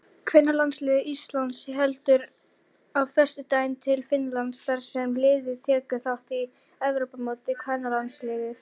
Kvennalandslið Íslands heldur á föstudaginn til Finnlands þar sem liðið tekur þátt í Evrópumóti kvennalandsliða.